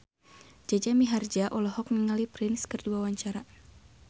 Jaja Mihardja olohok ningali Prince keur diwawancara